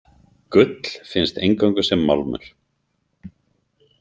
Gull finnst eingöngu sem málmur.